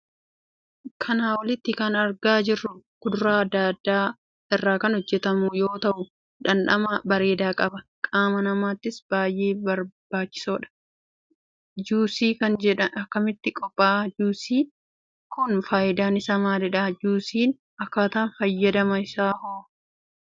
Kana olitti kan arga jirru kudura adda adda irra kan hojjetamu yoo tahuu dhandhama bareeda qaba. qaama namaatif baay'ee barbaachisoodha. Juice'n kun akkamitti qopha'a? juice'n kun faayidaan isaa maalidha? juice'n akkataan fayyadama isaaho?